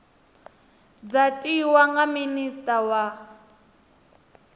dza tiwa nga minista wa